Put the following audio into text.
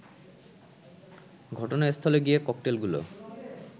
ঘটনাস্থলে গিয়ে ককটেলগুলো